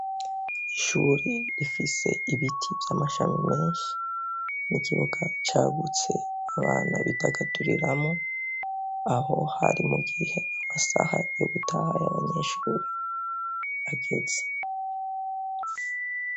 Ishuri rifise ibiti vy'amashami menshi ni igibuga cagutse abanta bidagaduriramo, aho hari mu gihe amasaha yogutaye abanyeshuri ageze.